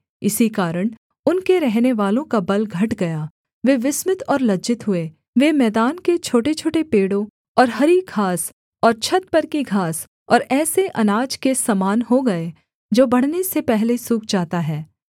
इसी कारण उनके रहनेवालों का बल घट गया वे विस्मित और लज्जित हुए वे मैदान के छोटेछोटे पेड़ों और हरी घास और छत पर की घास और ऐसे अनाज के समान हो गए जो बढ़ने से पहले सूख जाता है